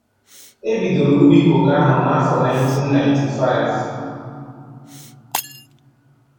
E bidoro ubi koko áhụ̀ n'afọ 1995